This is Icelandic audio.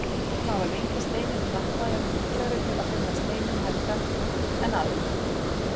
Þeir sem hafa lengi steininn klappað eru líklegri til að finna steininn helga en aðrir.